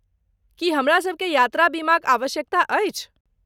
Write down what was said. की हमरासभ केँ यात्रा बीमाक आवश्यकता अछि?